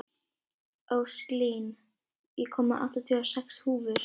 Ósklín, ég kom með áttatíu og sex húfur!